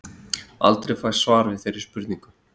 Aldrei fæst svar við þeirri spurningu.